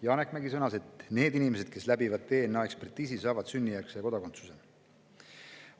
Janek Mägi sõnas, et need inimesed, kes läbivad DNA‑ekspertiisi, saavad sünnijärgse kodakondsuse.